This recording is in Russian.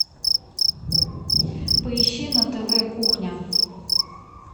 поищи на тв кухня